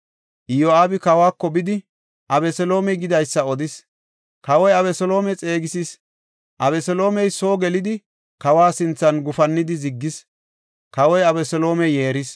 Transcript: Iyo7aabi kawako bidi, Abeseloomey gidaysa odis. Kawoy Abeseloome xeegisis; Abeseloomey soo gelidi, kawa sinthan gufannidi ziggis; kawoy Abeseloome yeeris.